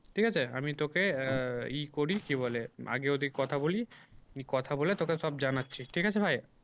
ঠিক আছে আমি তোকে আহ ই করি কি বলে আগে ওদিকে কথা বলি আমি কথা বলে তোকে সব জানাচ্ছি ঠিক আছে ভাই।